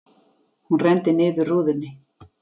Hún renndi niður rúðunni.